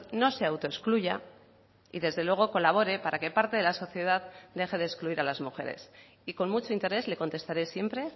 no se autoexcluya y desde luego colabore para que parte de la sociedad deje de excluir a las mujeres y con mucho interés le contestaré siempre